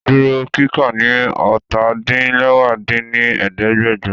Duro kika ni ọ́ta-din-lẹwá dín ní ẹ̀ẹ́dẹ́gbẹ́jọ!